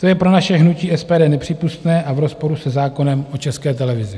To je pro naše hnutí SPD nepřípustné a v rozporu se zákonem o České televizi.